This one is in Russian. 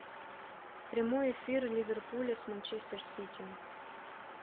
прямой эфир ливерпуля с манчестер сити